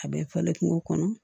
A bɛ falen kungo kɔnɔ